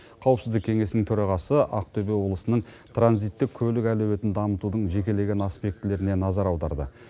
қауіпсіздік кеңесінің төрағасы ақтөбе облысының транзиттік көлік әлеуетін дамытудың жекелеген аспектілеріне назар аударды